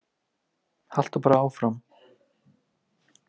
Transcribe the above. Haltu bara áfram